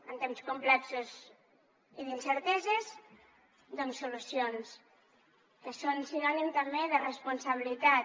en temps complexos i d’incerteses doncs solucions que són sinònim també de responsabilitat